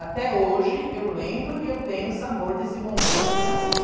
Até hoje eu lembro e eu tenho o sabor desse bombom na minha boca.